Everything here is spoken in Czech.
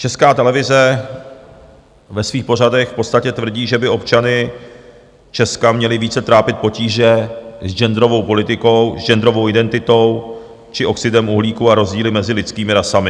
Česká televize ve svých pořadech v podstatě tvrdí, že by občany Česka měly více trápit potíže s genderovou politikou, s genderovou identitou či oxidem uhlíku a rozdíly mezi lidskými rasami.